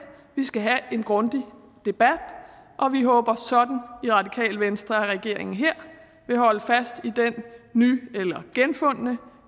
vi skal have en grundig debat og vi håber sådan i radikale venstre at regeringen her vil holde fast i den ny eller genfundne